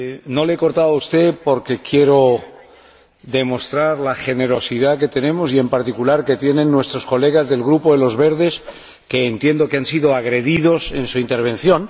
No le he cortado a usted porque quiero demostrar la generosidad que tenemos y, en particular, que tienen nuestros colegas del Grupo Verts ALE, que entiendo que han sido agredidos en su intervención.